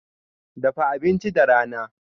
Dafa abinci da rana.